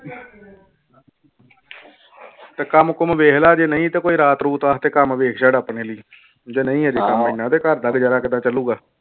ਤੇ ਕੰਮ ਕੁੰਮ ਵੇਖ ਲਾ ਜੇ ਨਹੀਂ ਤੇ ਕੋਈ ਰਾਤ ਰੂਤ ਵਾਸਤੇ ਕੰਮ ਵੇਖ ਛੱਡ ਆਪਣੇ ਲਈ ਜੇ ਨਹੀਂ ਹਜੇ ਕੰਮ ਇੰਨਾ ਤੇ ਘਰਦਾ ਗੁਜ਼ਾਰਾ ਕਿੱਦਾਂ ਚੱਲੂਗਾ।